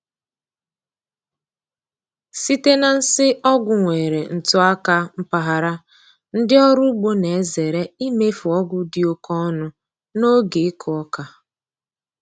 Site na nsị ọgwụ nwere ntụaka mpaghara, ndị ọrụ ugbo na-ezere imefu ọgwụ dị oke ọnụ n’oge ịkụ oka.